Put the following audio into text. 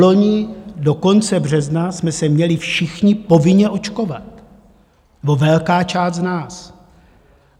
Vloni do konce března jsme se měli všichni povinně očkovat, nebo velká část z nás.